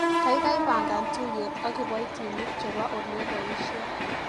Kaikai pangan tuiyet ak kibaitinik chebo oleabaishei.